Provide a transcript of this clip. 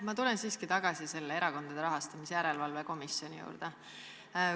Ma tulen siiski tagasi Erakondade Rahastamise Järelevalve Komisjoni juurde.